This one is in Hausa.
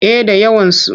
Eh da yawansu.